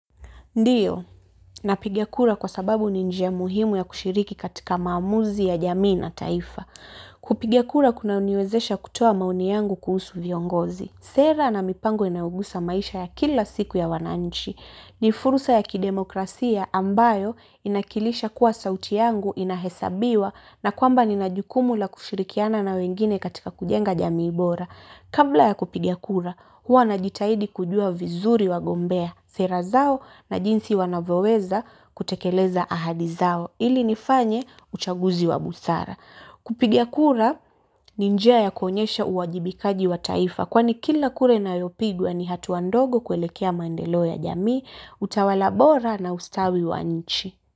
Ndiyo, napiga kura kwa sababu ni njia muhimu ya kushiriki katika maamuzi ya jamii na taifa. Kupigia kura kuna uniwezesha kutoa mauni yangu kuhusu viongozi. Sera na mipango inaougusa maisha ya kila siku ya wananchi. Nifurusa ya kidemokrasia ambayo inakilisha kuwa sauti yangu inahesabiwa na kwamba ni najukumu la kushirikiana na wengine katika kujenga jamii bora. Kabla ya kupiga kura, huwa najitahidi kujua vizuri wagombea, sera zao na jinsi wanavyoweza kutekeleza ahadi zao ili nifanye uchaguzi wa busara. Kupiga kura, ni njia ya kuonyesha uwajibikaji wa taifa kwani kila kura inayopigwa ni hatuandogo kuelekea mandeleo ya jamii, utawala bora na ustawi wa nchi.